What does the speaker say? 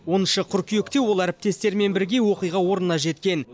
оныншы қыркүйекте ол әріптестерімен бірге оқиға орнына жеткен